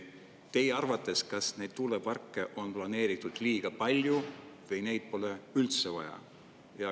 Kas teie arvates neid tuuleparke on planeeritud liiga palju või neid pole üldse vaja?